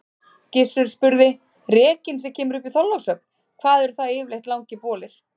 Gizur spurði:-Rekinn sem kemur upp í Þorlákshöfn, hvað eru það yfirleitt langir bolir?